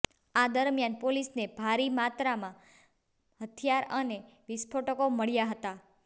આ દરમિયાન પોલીસને ભારી માત્રામાં હથિયાર અને વિસ્ફોટકો મળ્યા હતા